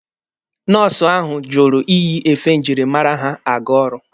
Nọọsụ ahụ jụrụ iyi efe njirimara ha aga ọrụ.